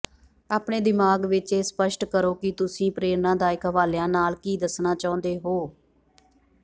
ਆਪਣੇ ਦਿਮਾਗ ਵਿਚ ਇਹ ਸਪੱਸ਼ਟ ਕਰੋ ਕਿ ਤੁਸੀਂ ਪ੍ਰੇਰਣਾਦਾਇਕ ਹਵਾਲਿਆਂ ਨਾਲ ਕੀ ਦੱਸਣਾ ਚਾਹੁੰਦੇ ਹੋ